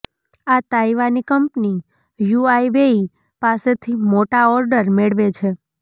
આ તાઇવાની કંપની હ્યુઆવેઇ પાસેથી મોટા ઓર્ડર મેળવે છે